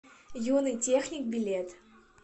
юный техник билет